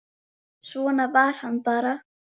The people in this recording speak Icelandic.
Svona var hann bara.